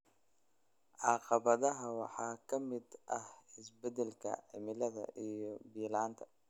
Caqabadaha waxaa ka mid ah isbeddelka cimilada iyo biyo la'aanta.